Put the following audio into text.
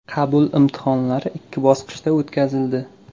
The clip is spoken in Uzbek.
Qabul imtihonlari ikki bosqichda o‘tkazildi.